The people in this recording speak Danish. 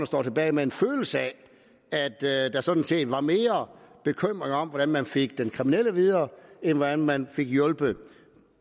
står tilbage med en følelse af at der sådan set var mere bekymring om hvordan man fik den kriminelle videre end hvordan man fik hjulpet